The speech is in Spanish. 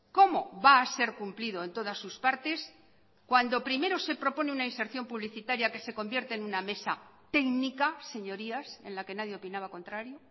cómo va a ser cumplido en todas sus partes cuando primero se propone una inserción publicitaria que se convierte en una mesa técnica señorías en la que nadie opinaba contrario